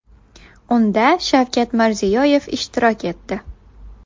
Unda Shavkat Mirziyoyev ishtirok etdi.